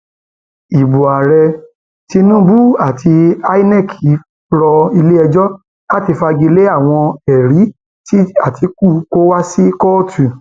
ibo ààrẹ tinubu àti inec rọ iléẹjọ láti fagi lé àwọn ẹrí tí àtikukú kó wá sí kóòtù